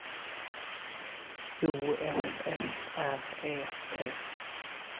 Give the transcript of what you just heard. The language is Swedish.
O F F R E T